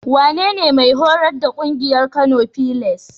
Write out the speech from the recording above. Wanene mai horas da ƙungiyar Kano filas?